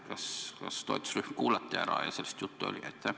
Kas toetusrühm kuulati ära ja kas sellest juttu oli?